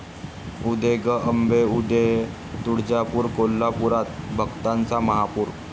उदे गं अंबे उदे...तुळजापूर, कोल्हापूरात भक्तांचा महापूर!